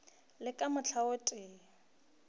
le ka mohla o tee